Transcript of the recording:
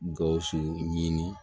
Gawusu ɲini